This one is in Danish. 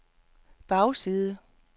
bagside